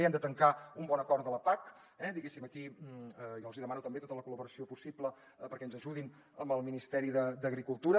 hem de tancar un bon acord de la pac eh diguéssim aquí jo els hi demano també tota la col·laboració possible perquè ens ajudin amb el ministeri d’agricultura